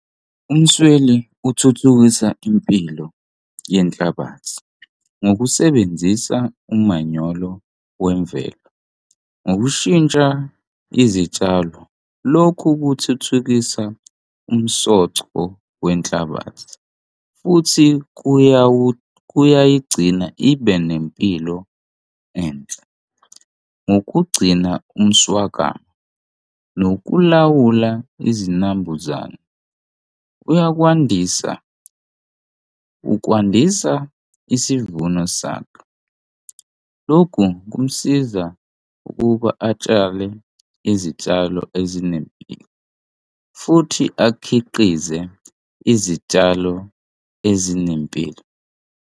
Umasweli uthuthukisa impilo yenhlabathi ngokusebenzisa umanyolo wemvelo, ngokushintsha izitshalo. Lokhu kuthuthukisa umsoco wenhlabathi futhi kuyayigcina ibe nempilo enhle ngokugcina umswakamo nokulawula izinambuzane. Uyakwandisa kwandisa isivuno sakho. Lokhu kumsiza ukuba atshale izitshalo ezinempilo futhi akhiqize izitshalo ezinempilo.